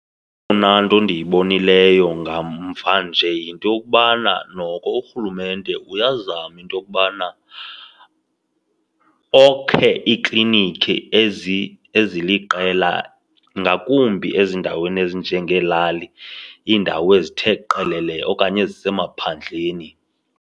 Eyona nto endiyibonileyo ngamva nje yinto yokubana noko urhulumente uyazama into yokubana okhe iiklinikhi eziliqela, ngakumbi ezindaweni ezinjengeelali, iindawo ezithe qelele okanye ezisemaphandleni.